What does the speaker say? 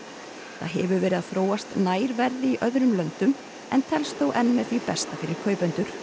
það hefur verið að þróast nær verði í öðrum löndum en telst þó enn með því besta fyrir kaupendur